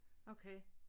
Okay